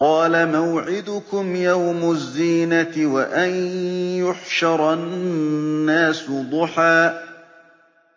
قَالَ مَوْعِدُكُمْ يَوْمُ الزِّينَةِ وَأَن يُحْشَرَ النَّاسُ ضُحًى